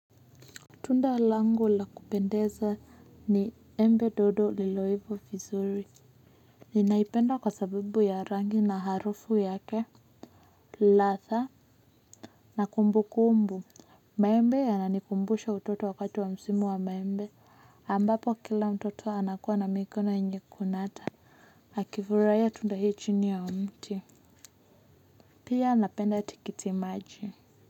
Tunda langu la kupendeza ni embe dodo lililoiva vizuri. Ninaipenda kwa sababu ya rangi na harufu yake, ladha na kumbukumbu. Maembe yananikumbusha utoto wakati wa msimu wa maembe, ambapo kila mtoto anakuwa na mikono yenye kunata. Akifuraia tunda hii chini ya mti. Pia napenda tikiti maji.